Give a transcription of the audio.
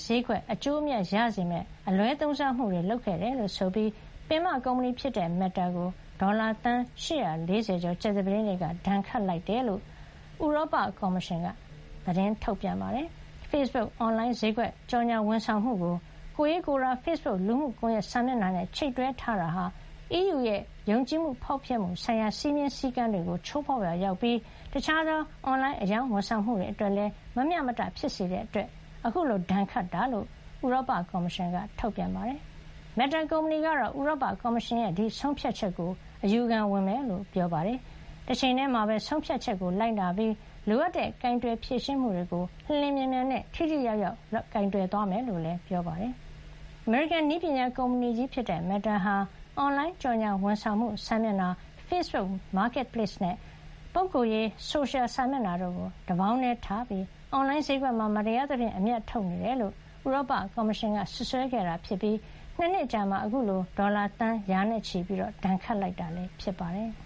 ဈေးကွက် အကျိုးအမြတ် ရစေမယ့် အလွဲသုံးစားမှုတွေ လုပ်ခဲ့တယ်လို့ ဆိုပြီး ပင်မ ကုမ္ပဏီဖြစ်တဲ့ Meta ကို ဒေါ်လာ သန်း ၈၄၀ ကျော် ကြာသပတေးနေ့က ဒဏ်ခတ်လိုက်တဲ့အကြောင်း ဥရောပကျော်မရှင်က ထုတ်ပြန်ပါတယ်။ Facebook အွန်လိုင်းဈေးကွက် ကြော်ငြာဝန်ဆောင်မှုကို ကိုယ်ရေးကိုယ်တာ Facebook လူမှုကွန်ရက် စာမျက်နှာနဲ့ ချိတ်တွဲထားတာဟာ EU ရဲ့ ယုံကြည်မှု- ဖောက်ဖျက်မှု ဆိုင်ရာ စည်းမျဉ်း စည်းကမ်းတွေကို ချိုးဖောက်ရာ ရောက်ပြီး တခြားသော အွန်လိုင်း အရောင်း ဝန်ဆောင်မှုတွေ အတွက်လည်း မမျှမတ ဖြစ်စေတာကြောင့် အခုလို ဒဏ်ခတ်တာလို့ ဥရောပ ကော်မရှင်က ထုတ်ပြန်ပါတယ်။ Meta ကုမ္ပဏီ ကတော့ ဥရောပ ကော်မရှင်ရဲ့ ဆုံးဖြတ်ချက်ကို အယူခံဝင်မယ်လို့ ပြောတဲ့ တချိန်တည်းမှာပဲ ဆုံးဖြတ်ချက်ကို လိုက်နာပြီး လိုအပ်တဲ့ ကိုင်တွယ် ဖြေရှင်းမှုတွေကို လျင်လျင်မြန်မြန်နဲ့ ထိထိရောက်ရောက် လုပ်သွားမယ်လို့လည်း ပြောပါတယ်။ အမေရိကန်နည်းပညာ ကုမ္ပဏီကြီးဖြစ်တဲ့ Meta ဟာ အွန်လိုင်း ကြော်ငြာ ဝန်ဆောင်မှု စာမျက်နှာ Facebook Marketplace နဲ့ ပုဂ္ဂိုလ်ရေး ဆိုရှယ်စာမျက်နှာ တို့ကို တပေါင်းတည်းထားပြီး အွန်လိုင်းဈေးကွက်မှာ မတရားသဖြင့် အမြတ်ထုတ်နေတယ်လို့ ဥရောပ ကော်မရှင်က စွပ်စွဲခဲ့ပြီး ၂ နှစ်အကြာမှာ အခုလို ဒေါ်လာ သန်း ရာနဲ့ချီ ဒဏ်ခတ်လိုက်တာ ဖြစ်ပါတယ်။